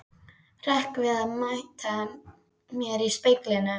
Hrekk við að mæta mér í speglinum.